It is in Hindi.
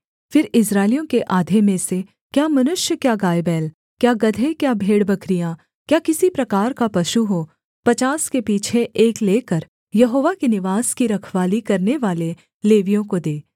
फिर इस्राएलियों के आधे में से क्या मनुष्य क्या गायबैल क्या गदहे क्या भेड़बकरियाँ क्या किसी प्रकार का पशु हो पचास के पीछे एक लेकर यहोवा के निवास की रखवाली करनेवाले लेवियों को दे